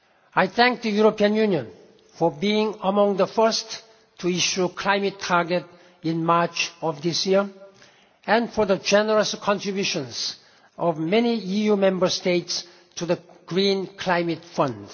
world. I thank the European Union for being among the first to issue a climate target in March of this year, and for the generous contributions of many EU Member States to the Green Climate